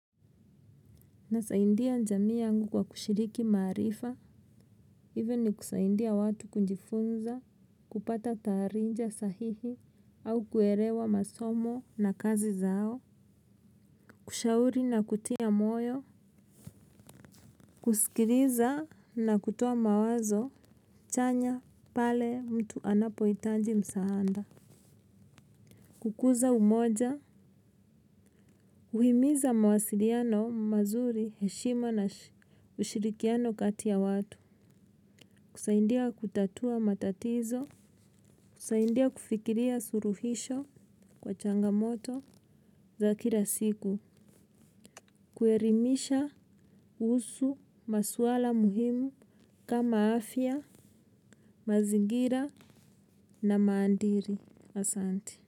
Nasaidia jamii yangu kwa kushiriki maarifa, hivi ni kusaidia watu kujifunza, kupata taarifa sahihi, au kuelewa masomo na kazi zao. Kushauri na kutia moyo. Kusikiliza na kutoa mawazo. Chanya pale mtu anapohitaji msaada. Kukuza umoja. Uhimiza mawasiliano mazuri, heshima na ushirikiano kati ya watu. Kusaidia kutatua matatizo, kusaindia kufikiria suluhisho kwa changamoto za kila siku, kuelimisha kuhusu maswala muhimu kama afya, mazingira na maadili. Asante.